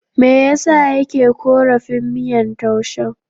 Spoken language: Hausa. Me ya sa yake korafin miyar taushen?